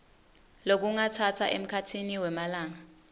lokungatsatsa emkhatsini wemalanga